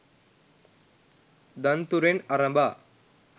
දන්තුරෙන් අරඹා